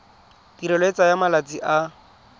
tirelo e tsaya malatsi a